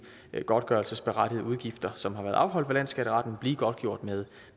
godtgørelsesberettigede udgifter som har været afholdt ved landsskatteretten blive godtgjort med